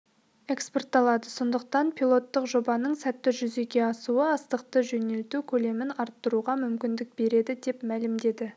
экспортталады сондықтан пилоттық жобаның сәтті жүзеге асуы астықты жөнелту көлемін арттыруға мүмкіндік береді деп мәлімдеді